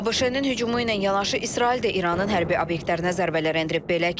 ABŞ-nin hücumu ilə yanaşı İsrail də İranın hərbi obyektlərinə zərbələr endirib.